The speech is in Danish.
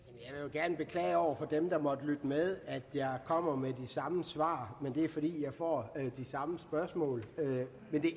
gerne beklage over for dem der måtte lytte med at jeg kommer med de samme svar men det er fordi jeg får de samme spørgsmål det